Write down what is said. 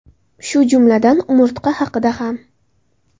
Shu jumladan umurtqa haqida ham.